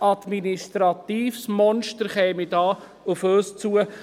– Ein administratives Monster käme da auf uns zu.